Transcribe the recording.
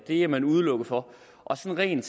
er man udelukket fra og sådan